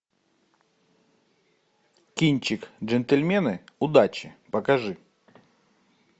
кинчик джентльмены удачи покажи